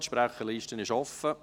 Die Sprecherliste ist offen.